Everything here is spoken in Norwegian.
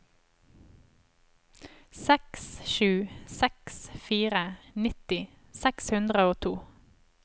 seks sju seks fire nitti seks hundre og to